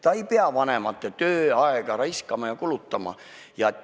Ta ei pea vanemate tööaega raiskama ja kulutama.